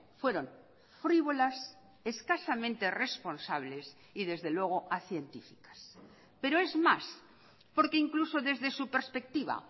fueron frívolas escasamente responsables y desde luego acientíficas pero es más porque incluso desde su perspectiva